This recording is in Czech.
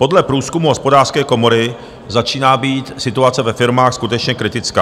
Podle průzkumu Hospodářské komory začíná být situace ve firmách skutečně kritická.